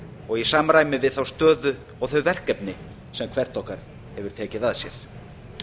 og í samræmi við þá stöðu og þau verkefni sem hvert okkar hefur tekið að sér